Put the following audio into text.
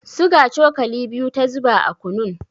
Suga cokali biyu ta zuba a kunun.